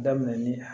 Daminɛn ni